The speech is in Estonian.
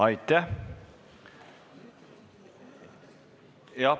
Aitäh!